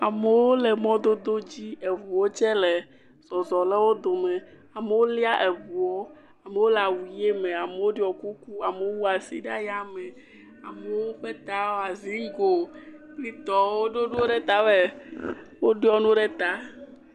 Amewo le mɔdodo dzi, eŋuwo tsɛ le zɔzɔ le wo dome, amewo lia eŋuɔ, amewo le awu ʋe me, amewo ɖɔ kuku, amewo wu asi ɖe ya me, amewo ƒe ta wɔ zigoo kpli tɔwo. Woɖɔ nuwo ɖe tame, woɖɔ nuwo ɖe ta.